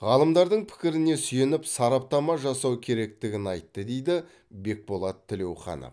ғалымдардың пікіріне сүйеніп сараптама жасау керектігін айтты дейді бекболат тілеуханов